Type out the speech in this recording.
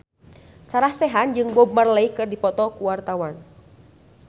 Sarah Sechan jeung Bob Marley keur dipoto ku wartawan